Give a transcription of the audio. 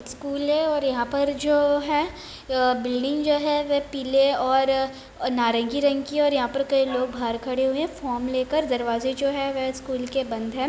School है और यहाँ पर जो है बिल्डिंग जो है पीले और नारंगी रंग की है यहाँ पर कई लोग बाहर खड़े हुए है फॉर्म लेकर दरवाज़े जो है स्कूल के वे बंद है।